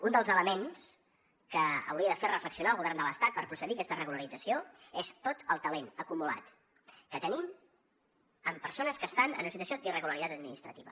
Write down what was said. un dels elements que hauria de fer reflexionar el govern de l’estat per procedir a aquesta regularització és tot el talent acumulat que tenim en persones que estan en una situació d’irregularitat administrativa